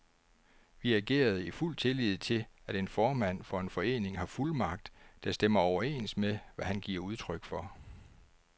Vi agerede i fuld tillid til, at en formand for en forening har fuldmagt, der stemmer overens med, hvad han giver udtryk for.